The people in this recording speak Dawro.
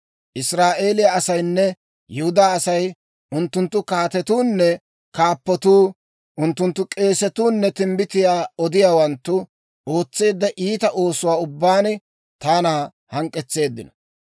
Israa'eeliyaa asaynne Yihudaa asay, unttunttu kaatetuunne kaappatuu, unttunttu k'eesatuu nne timbbitiyaa odiyaawanttu ootseedda iita oosuwaa ubbaan taana hank'k'etseeddino.